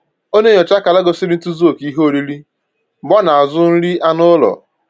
Ọ na-enyocha akara gosiri ntozuoke ihe oriri mgbe ọ na-azụ nri anụ ụlọ